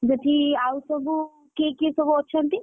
ସେଠି ଆଉ ସବୁ, କିଏ କିଏ ସବୁ ଅଛନ୍ତି?